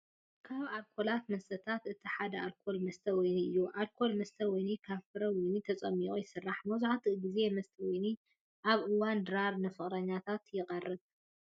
ካብ ኣልኮል መስተታት እቲ ሓደ ኣልኮል መስተ ወይኒ እዩ። ኣልኮል መስተ ወይኒ ካብ ፍረ ወይኒ ተፀሚቁ ይስራሕ። መብዛህቲኡ ግዜ መስተ ወይኒ ኣብ እዋን ድራር ንፍቅረኛታት ይቐርብ።